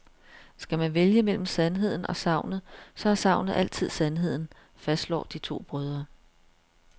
Skal man vælge mellem sandheden og sagnet, så er sagnet altid sandheden, fastslår de to brødre.